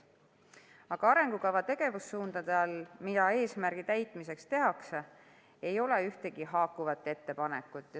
Aga arengukava tegevussuundade all, mida eesmärgi täitmiseks tehakse, ei ole ühtegi haakuvat ettepanekut.